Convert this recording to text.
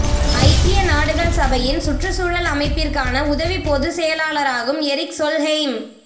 ஐக்கிய நாடுகள் சபையின் சுற்றுச்சூழல் அமைப்பிற்கான உதவி பொது செயலாளராகும் எரிக் சொல்ஹெய்ம்